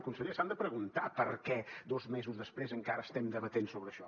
i conseller s’han de preguntar per què dos mesos després encara estem debatent sobre això